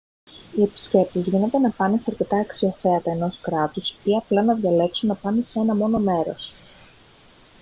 οι επισκέπτες γίνεται να πάνε σε αρκετά αξιοθέατα ενός κράτους ή απλά να διαλέξουν να πάνε σε ένα μόνο μέρος